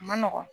A ma nɔgɔn